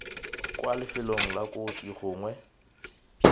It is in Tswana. kwa lifelong la kotsi gongwe